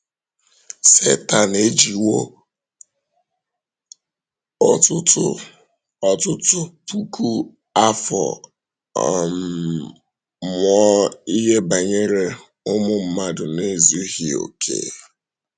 Sẹtán ejiwò ọtụtụ ọtụtụ puku afọ um mụọ ihe banyere ụmụ um mmadụ na-ezughị okè.